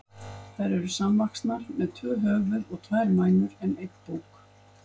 Þær eru samvaxnar, með tvö höfuð og tvær mænur en einn búk.